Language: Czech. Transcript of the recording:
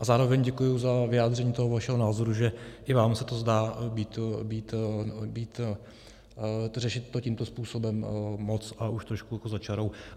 A zároveň děkuji za vyjádření toho vašeho názoru, že i vám se to zdá být, řešit to tímto způsobem, moc a už trošku jako za čarou.